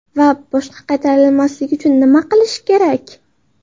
Va boshqa qaytarilmasligi uchun nima qilish kerak?